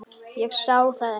Ég sá það ekki.